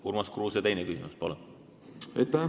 Urmas Kruuse, teine küsimus, palun!